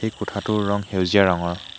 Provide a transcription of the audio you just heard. এই কোঠাটোৰ ৰং সেউজীয়া ৰঙৰ।